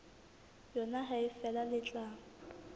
yona ha feela le tla